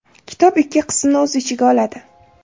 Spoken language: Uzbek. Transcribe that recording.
Kitob ikki qismni o‘z ichiga oladi.